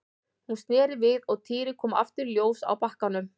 Hún sneri við og Týri kom aftur í ljós á bakkanum.